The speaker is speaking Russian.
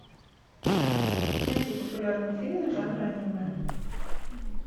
найди популярные фильмы жанра аниме